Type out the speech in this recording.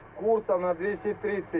Kurs 230.